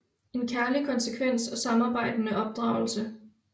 En kærlig konsekvens og samarbejdende opdragelse